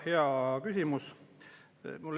Hea küsimus.